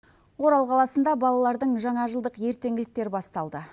орал қаласында балалардың жаңа жылдық ертеңгіліктері басталды